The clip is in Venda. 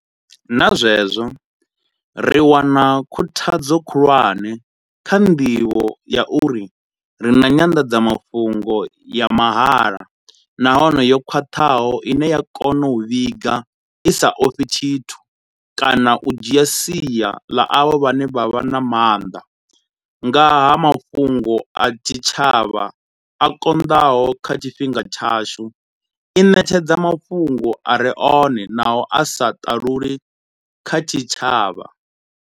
Na zwenezwo, ri wana khuthadzo khulwane kha nḓivho ya uri ri na nyanḓadzamafhungo ya mahala nahone yo khwaṱhaho ine ya kona u vhiga i sa ofhi tshithu kana u dzhia sia ḽa avho vhane vha vha na maanḓa, nga ha mafhungo a tshitshavha a konḓaho kha tshifhinga tshashu, i ṋetshedza mafhungo a re one naho a sa ṱaluli kha tshitshavha.